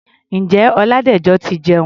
Ǹjẹ́ Ọládẹ̀jọ ti jẹun?